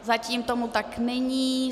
Zatím tomu tak není.